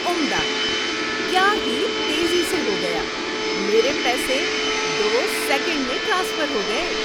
عمدہ۔ کیا ہی تیزی سے ہو گیا۔ میرے پیسے دو سیکنڈ میں ٹرانسفر ہو گئے۔